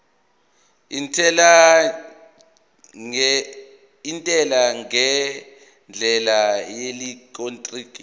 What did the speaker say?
intela ngendlela yeelektroniki